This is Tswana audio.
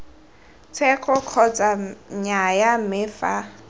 tsheko kgotsa nnyaya mme fa